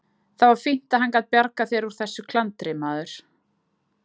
Það var fínt að hann gat bjargað þér úr þessu klandri, maður!